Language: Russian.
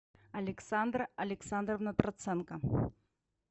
александра александровна троценко